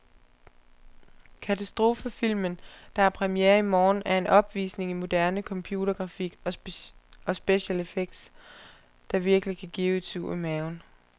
Katastrofefilmen, der har premiere i morgen, er en opvisning i moderne computergrafik og special effects, der virkelig kan give et sug i maven.